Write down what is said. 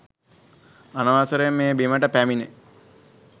අනවසරයෙන් මේ බිමට පැමිණි